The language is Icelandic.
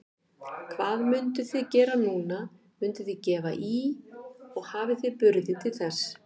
Hvað munuð þið gera núna, munuð þið gefa í og hafið þið burði til þess?